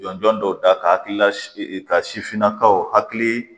Jɔn jɔn dɔw da ka hakilila ka sifinnakaw hakili